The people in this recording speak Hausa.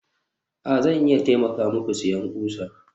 a, Zan iya taimaka muku siyan ƙusa